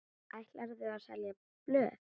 Ætlarðu að selja blöð?